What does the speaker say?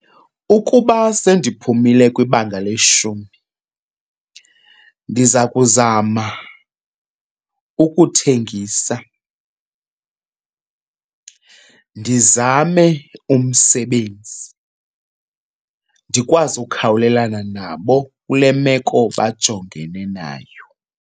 Ukuba sendiphumile kwibanga leshumi ndiza kuzama ukuthengisa, ndizame umsebenzi ndikwazi ukhawulelana nabo kule meko bajongene nayo.